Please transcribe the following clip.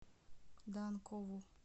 данкову